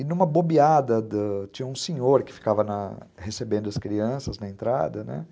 E numa bobeada, da, tinha um senhor que ficava recebendo as crianças na entrada, né?